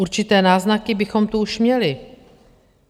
Určité náznaky bychom tu už měli.